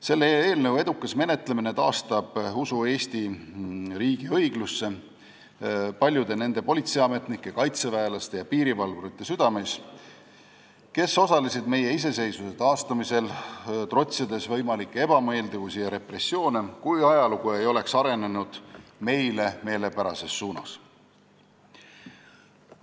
Selle eelnõu edukas menetlemine taastab usu Eesti riigi õiglusse paljude nende politseiametnike, kaitseväelaste ja piirivalvurite südameis, kes osalesid meie iseseisvuse taastamisel, trotsides võimalikke ebameeldivusi ja repressioone, mis oleksid võinud toimuda, kui ajalugu ei oleks arenenud meile meelepärases suunas.